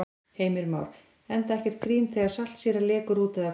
Heimir Már: Enda ekkert grín þegar saltsýra lekur út eða hvað?